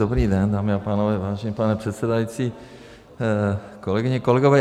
Dobrý den, dámy a pánové, vážený pane předsedající, kolegyně, kolegové.